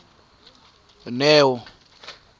neo